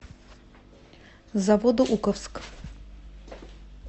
заводоуковск